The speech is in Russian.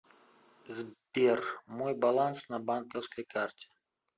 сбер мой баланс на банковской карте